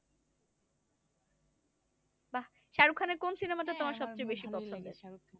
বাহ শাহরুখ খানের কোন সিনেমাটা তোমার সবচেয়ে বেশি ভালো লাগে?